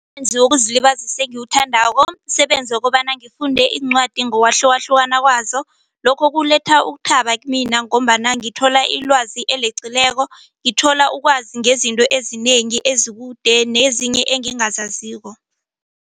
Wokuzilibazisa engiwuthandako msebenzi wokobana ngifunde iincwadi ngokwahlukahlukana kwazo lokho kuletha ukuthaba kumina ngombana ngithola ilwazi eleqileko ngithola ukwazi ngezinto ezinengi ezikude nezinye engingazaziko.